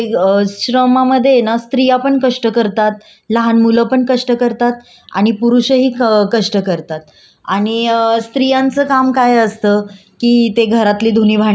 आणि स्त्रियांचं काम काय असतं की ते घरातली धुनी भांडी करतात किंवा काही स्त्रिया ऑफिसला जाऊन स्वतःच्या मुलांना सांभाळून सगळंच मॅनेज करत असतात.